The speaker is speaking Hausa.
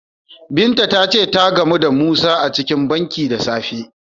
Binta ta ce ta gamu da Musa a cikin banki da safe.